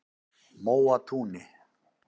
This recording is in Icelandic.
Móatúni